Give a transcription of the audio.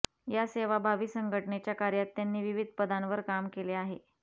या सेवाभावी संघटनेच्या कार्यात त्यांनी विविध पदांवर काम केले आहे